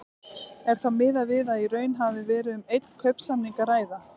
Er þá miðað við að í raun hafi verið um einn kaupsamning að ræða.